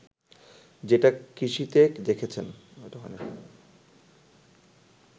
যেটা কৃষিতে দেখছেন